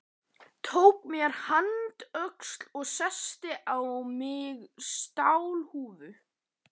Tók mér handöxi og setti á mig stálhúfu.